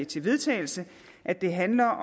til vedtagelse at det handler